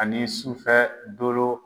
Ani sufɛ dolo.